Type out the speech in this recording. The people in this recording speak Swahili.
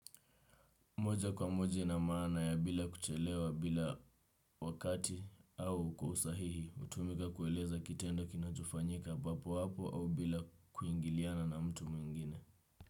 Moja kwa moja ina maana ya bila kuchelewa bila wakati au kwa usahihi utumika kueleza kitenda kinatufanyika papo wapo au bila kuingiliana na mtu mwingine.